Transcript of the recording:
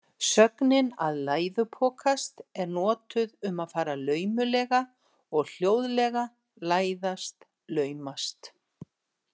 Sögnin að læðupokast er notuð um að fara laumulega og hljóðlega, læðast, laumast.